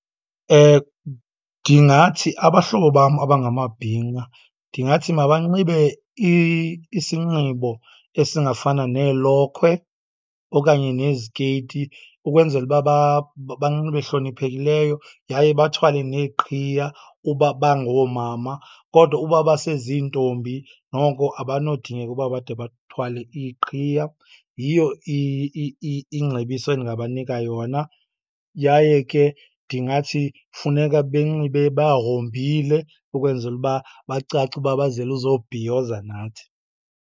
Ndingathi abahlobo bam abangamabhinqa ndingathi mabanxibe isinxibo esingafana neelokhwe okanye nezikeyiti, ukwenzela uba banxibe hloniphekileyo. Yaye bathwale neeqhiya uba bangoomama kodwa uba baseziintombi noko abanodingeka uba bade bathwale iiqhiya. Yiyo ingcebiso endingabanika yona, yaye ke ndingathi funeka benxibe bahombile ukwenzela uba bacace uba bazele uzobhiyoza nathi.